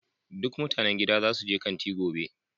Duk mutanen gidan za su je babban kanti gobe.